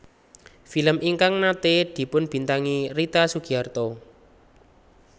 Film ingkang naté dipunbintangi Rita Sugiarto